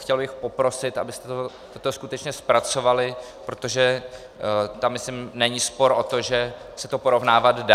Chtěl bych poprosit, abyste toto skutečně zpracovali, protože tam myslím není spor o to, že se to porovnávat dá.